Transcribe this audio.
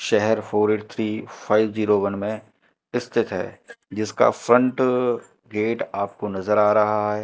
शहर four eight three five zero one में स्थित है जिसका फ्रंट गेट आपको नजर आ रहा है।